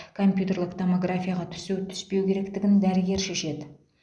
компьютерлік томографияға түсу түспеу керектігін дәрігер шешеді